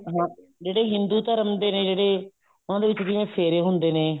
ਹਾਂ ਜਿਹੜੇ ਹਿੰਦੂ ਧਰਮ ਦੇ ਨੇ ਜਿਹੜੇ ਉਹਨਾ ਦੇ ਵਿੱਚ ਜਿਵੇਂ ਫੇਰੇ ਹੁੰਦੇ ਨੇ